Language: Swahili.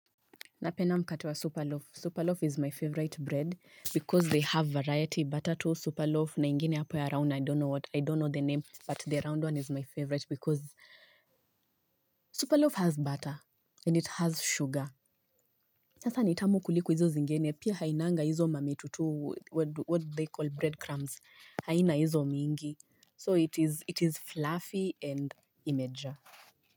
Napenda mkate wa Superloaf. Superloaf is my favorite bread because they have variety. Butter toast Superloaf na ingine hapo ya round I don't know the name but the round one is my favorite because Superloaf has butter and it has sugar. Sasa ni tamu kuliku hizo zingeni. Pia hainanga izo mamitutu what do they call breadcrumbs. Haina izo miingi. So it is fluffy and imejaa.